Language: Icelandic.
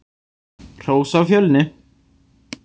Hrós á Fjölni!